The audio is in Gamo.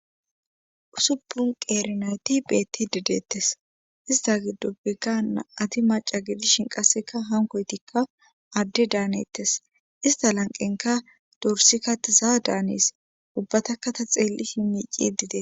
Usuppun qeeri nayti beettidi deettes isttta gidoppekka nam7ati macca gidishin qasseka hankkoytikka adde daanettes istta lanqqonkka dorssika diza daanes ubbatakka ta xeelishin miiccidi deete